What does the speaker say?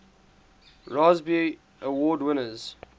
raspberry award winners